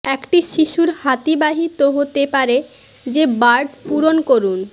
একটি শিশুর হাতি বাহিত হতে পারে যে বার্ড পূরণ করুন